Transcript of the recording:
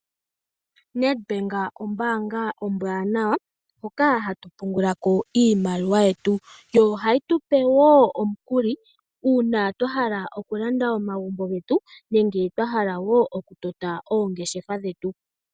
Nedbank ombaanga ombwaanawa hoka hatu pungula ko iimaliwa yetu, yo ohayi tu pe wo omukuli una twa hala okulanda omagumbo getu nenge twa hala wo oku tota oongeshefa dhetu